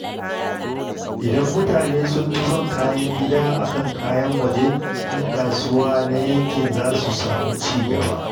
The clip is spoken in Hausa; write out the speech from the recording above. Idan mutane sun fi son kayan gida a kan na waje, ƴan kasuwa na yankin za su samu ci gaba.